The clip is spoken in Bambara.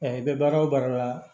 i bɛ baara o baara la